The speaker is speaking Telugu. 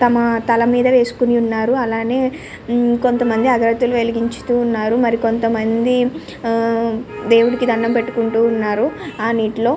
తల మీద వేసి ఉన్నారు. కొంత మంది అగర్బతులు వెలిగిస్తున్నారు. మరి కొంత మంది దేవునికి దండం పెట్టుకుంటున్నారు ఆ నీటిలో --